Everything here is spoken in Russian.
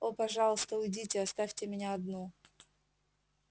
о пожалуйста уйдите оставьте меня одну